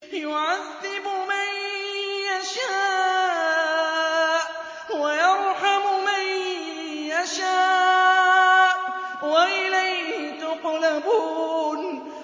يُعَذِّبُ مَن يَشَاءُ وَيَرْحَمُ مَن يَشَاءُ ۖ وَإِلَيْهِ تُقْلَبُونَ